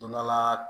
Don dɔ la